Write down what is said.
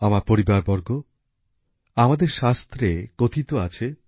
আমার পরিবারবর্গ আমাদের শাস্ত্রে কথিত আছে